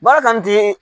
Baara kanu ti